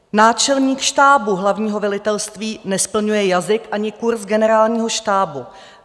Náčelník štábu hlavního velitelství nesplňuje jazyk ani kurz Generálního štábu.